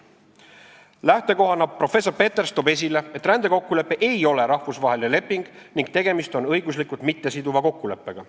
Lähtekohana toob professor Peters esile, et rändekokkulepe ei ole rahvusvaheline leping ning tegemist on õiguslikult mittesiduva kokkuleppega.